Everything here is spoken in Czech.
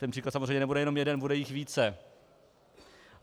Ten příklad samozřejmě nebude jenom jeden, bude jich více.